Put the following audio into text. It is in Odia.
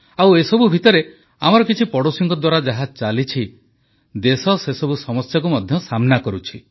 ଆଉ ଏସବୁ ଭିତରେ ଆମର କିଛି ପଡ଼ୋଶୀଙ୍କ ଦ୍ୱାରା ଯାହା ଚାଲିଛି ଦେଶ ସେସବୁ ସମସ୍ୟାକୁ ମଧ୍ୟ ସାମନା କରୁଛି